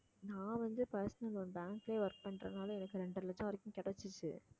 நான் வந்து personal loan bank லயே work பண்றதுனால எனக்கு இரண்டரை லட்சம் வரைக்கும் கிடைச்சிச்சு